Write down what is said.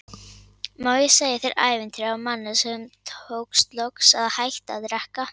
Má ég segja þér ævintýri af manni sem tókst loks að hætta að drekka?